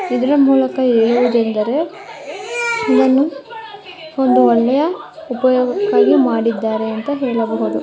ಇದರ ಮೂಲಕ ಏನು ಹೇಳಬಹುದು ಅಂದ್ರೆ ಒಂದು ಅಡುಗೆಯ ಉಪಯೋಗ ಆಗಿ ಮಾಡಿದ್ದಾರೆ ಎಂದು ಹೇಳಬಹುದು